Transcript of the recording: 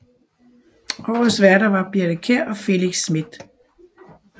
Årets værter var Birthe Kjær og Felix Smith